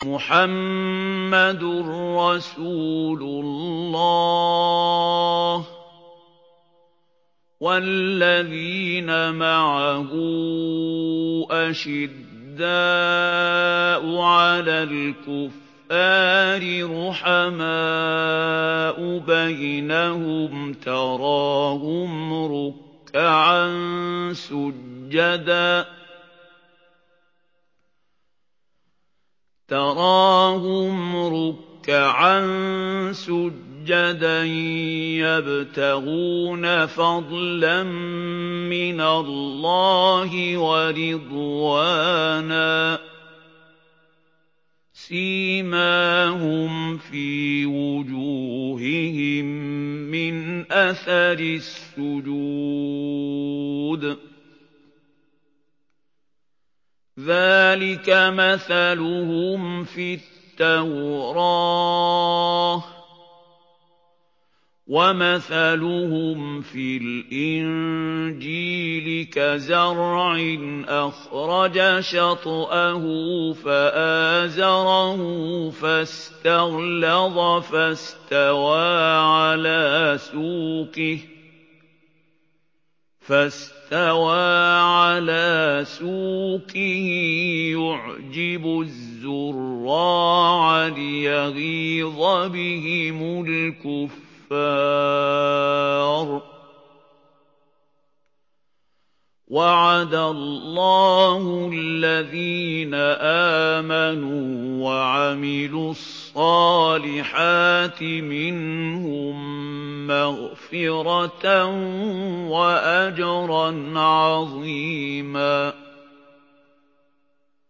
مُّحَمَّدٌ رَّسُولُ اللَّهِ ۚ وَالَّذِينَ مَعَهُ أَشِدَّاءُ عَلَى الْكُفَّارِ رُحَمَاءُ بَيْنَهُمْ ۖ تَرَاهُمْ رُكَّعًا سُجَّدًا يَبْتَغُونَ فَضْلًا مِّنَ اللَّهِ وَرِضْوَانًا ۖ سِيمَاهُمْ فِي وُجُوهِهِم مِّنْ أَثَرِ السُّجُودِ ۚ ذَٰلِكَ مَثَلُهُمْ فِي التَّوْرَاةِ ۚ وَمَثَلُهُمْ فِي الْإِنجِيلِ كَزَرْعٍ أَخْرَجَ شَطْأَهُ فَآزَرَهُ فَاسْتَغْلَظَ فَاسْتَوَىٰ عَلَىٰ سُوقِهِ يُعْجِبُ الزُّرَّاعَ لِيَغِيظَ بِهِمُ الْكُفَّارَ ۗ وَعَدَ اللَّهُ الَّذِينَ آمَنُوا وَعَمِلُوا الصَّالِحَاتِ مِنْهُم مَّغْفِرَةً وَأَجْرًا عَظِيمًا